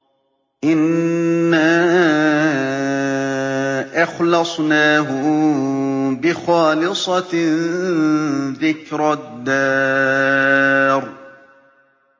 إِنَّا أَخْلَصْنَاهُم بِخَالِصَةٍ ذِكْرَى الدَّارِ